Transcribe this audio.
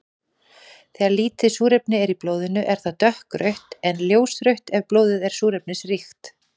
Þegar lítið súrefni er í blóðinu er það dökkrautt en ljósrautt ef blóðið er súrefnisríkt.